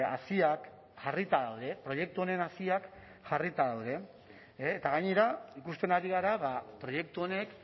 haziak jarrita daude proiektu honen haziak jarrita daude eta gainera ikusten ari gara proiektu honek